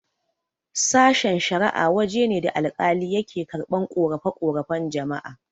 Sashen-shara'a waje ne da alkali yake karɓan ƙorafe-ƙorafen jama'a.